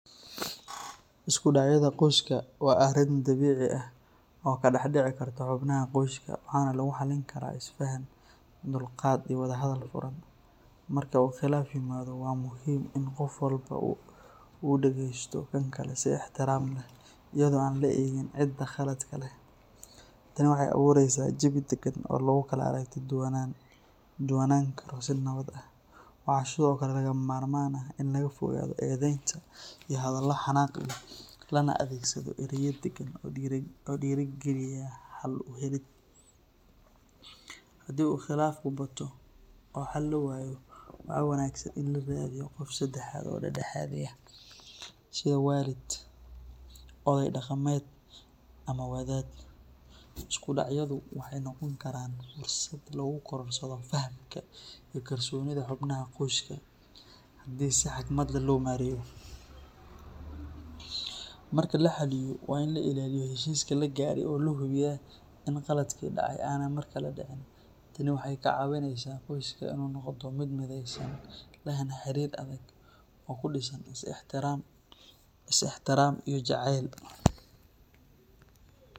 Isku dhacyada qoyska waa arrin dabiici ah oo ka dhex dhici karta xubnaha qoyska, waxaana lagu xallin karaa isfaham, dulqaad iyo wadahadal furan. Marka uu khilaaf yimaado, waa muhiim in qof walba uu dhagaysto kan kale si ixtiraam leh, iyadoo aan la eegin cidda khaladka leh. Tani waxay abuureysaa jawi deggan oo lagu kala aragti duwanaan karo si nabad ah. Waxaa sidoo kale lagama maarmaan ah in laga fogaado eedeynta iyo hadallo xanaaq leh, lana adeegsado erayo deggan oo dhiirrigeliya xal u helid. Haddii uu khilaafku bato oo xal la waayo, waxaa wanaagsan in la raadiyo qof saddexaad oo dhexdhexaadiya, sida waalid, odey dhaqameed ama wadaad. Isku dhacyadu waxay noqon karaan fursad lagu korodhsado fahamka iyo kalsoonida xubnaha qoyska haddii si xigmad leh loo maareeyo. Marka la xalliyo, waa in la ilaaliyo heshiiska la gaaray oo la hubiyaa in qaladaadkii dhacay aanay mar kale dhicin. Tani waxay ka caawinaysaa qoyska in uu noqdo mid midaysan, lehna xiriir adag oo ku dhisan is ixtiraam iyo jacayl.